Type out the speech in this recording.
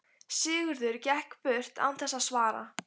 Sigurður gekk burt án þess að svara.